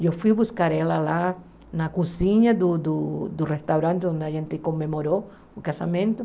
Eu fui buscar ela lá na cozinha do do do restaurante onde a gente comemorou o casamento.